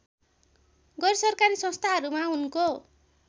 गैरसरकारी संस्थाहरूमा उनको